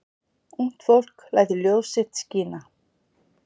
Ungt fólk lætur ljós sitt skína